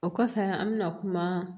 O kɔfɛ an bɛna kuma